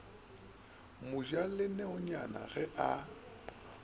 mo ja leonyane ge a